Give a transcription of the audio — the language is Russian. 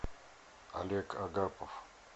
олег агапов